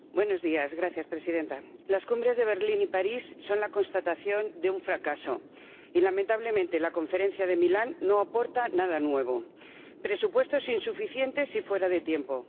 Señora Presidenta, las cumbres de Berlín y París son la constatación de un fracaso y, lamentablemente, la Conferencia de Milán no aporta nada nuevo presupuestos insuficientes y fuera de tiempo